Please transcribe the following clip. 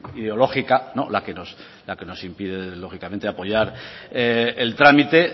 ideológica la que nos impide lógicamente apoyar el trámite